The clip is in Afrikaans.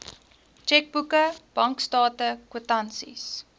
tjekboeke bankstate kwitansies